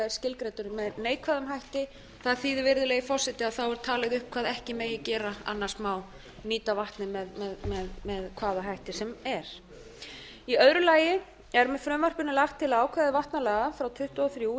skilgreindur með neikvæðum hætti það þýðir virðulegi forseti þá er talið upp hvað ekki megi gera annars má nýta vatnið með hvaða hætti sem er í öðru lagi er með frumvarpinu lagt til að ákvæði vatnalaga frá nítján hundruð tuttugu og þrjú í